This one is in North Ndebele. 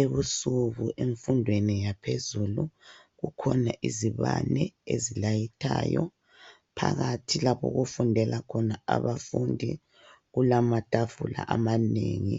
Ebusuku emfundweni yaphezulu kukhona izibane ezilayitayo .Phakathi lapho okufundela khona abafundi kulamatafula amanengi